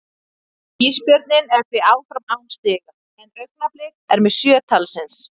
Ísbjörninn er því áfram án stiga, en Augnablik er með sjö talsins.